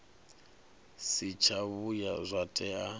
si tsha vhuya zwa tea